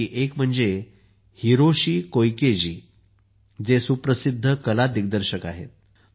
यापैकी एक म्हणजे हिरोशी कोइके जी जे सुप्रसिद्ध कला दिग्दर्शक आहेत